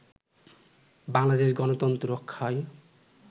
বাংলাদেশ গনতন্ত্র রক্ষায়